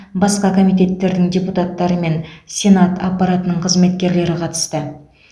басқа комитеттердің депутаттары мен сенат аппаратының қызметкерлері қатысты